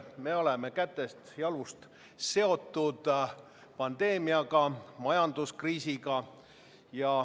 Me oleme käsist-jalust seotud pandeemiaga ja majanduskriisiga.